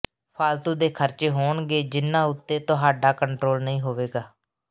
ਫਾਲਤੂ ਦੇ ਖਰਚੇ ਹੋਣਗੇ ਜਿਨ੍ਹਾਂ ਉੱਤੇ ਤੁਹਾਡਾ ਕੰਟਰੋਲ ਨਹੀਂ ਹੋਵੇਗਾ